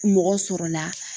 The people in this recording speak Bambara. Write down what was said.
Mɔgɔ sɔrɔla